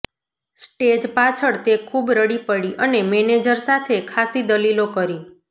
stage પાછળ તે ખૂબ રડી પડી અને મેનેજર સાથે ખાસી દલીલો કરી